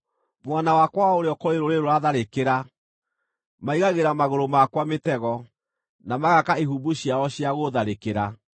Mwena wakwa wa ũrĩo kũrĩ rũrĩrĩ rũratharĩkĩra; maigagĩra magũrũ makwa mĩtego, na magaaka ihumbu ciao cia gũũtharĩkĩra.